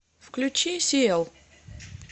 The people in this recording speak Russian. включи сиэл